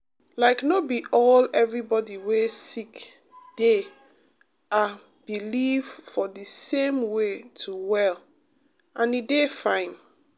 um like no be all everybody wey sick dey ah believe for the same way to well and e dey fine.